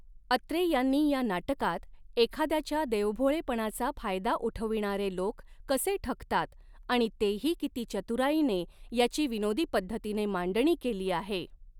अत्रे यांनी या नाटकात एखाद्याच्या देवभोळेपणाचा फायदा उठविणारे लोक कसे ठगतात आणि तेही किती चतुराईनेे याची विनोदी पद्धतीने मांडणी केली आहे